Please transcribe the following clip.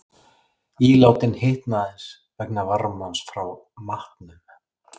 Ílátin hitna aðeins vegna varmans frá matnum.